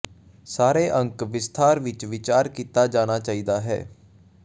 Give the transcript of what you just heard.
ਸਾਰੇ ਅੰਕ ਵਿਸਥਾਰ ਵਿੱਚ ਵਿਚਾਰ ਕੀਤਾ ਜਾਣਾ ਚਾਹੀਦਾ ਹੈ